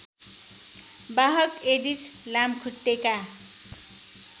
वाहक एडिस लामखुट्टेका